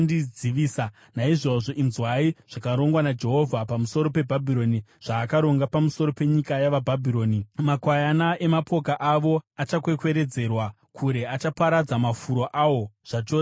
Naizvozvo, inzwai zvakarongwa naJehovha pamusoro peBhabhironi, zvaakaronga pamusoro penyika yavaBhabhironi: Makwayana emapoka avo achakwekweredzerwa kure; achaparadza mafuro awo zvachose nokuda kwavo.